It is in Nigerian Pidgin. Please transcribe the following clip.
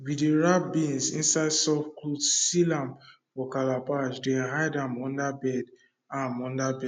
we dey wrap beans inside soft cloth seal am for calabash then hide am under bed am under bed